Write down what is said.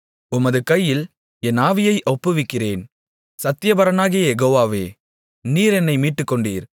உமது கையில் என் ஆவியை ஒப்புவிக்கிறேன் சத்தியபரனாகிய யெகோவாவே நீர் என்னை மீட்டுக்கொண்டீர்